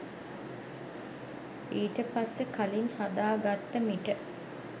ඊට පස්සෙ කලින් හදාගත්ත මිට